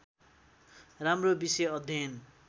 राम्रो विषय अध्ययन